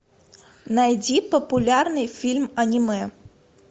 найди популярный фильм аниме